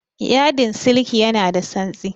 Yadin siliki ya na da tsantsi